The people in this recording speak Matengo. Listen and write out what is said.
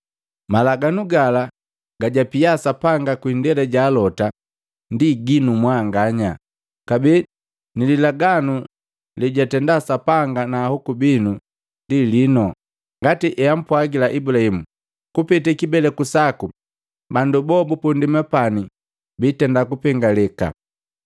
Malaganu gala gajapia Sapanga kwi indela ja alota ndi jinu mwanganya, kabee nililaganu lejatenda Sapanga na ahoku binu ndi lino. Ngati eampwagila Ibulahimu, ‘Kupete kibeleku saku, bandu boa bupu ndema pani biitenda kupengeleka.’